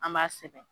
An b'a sɛbɛn